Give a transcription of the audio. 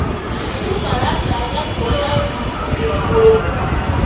Andũ maratanya kuona ũnyitanĩri mũrũmu.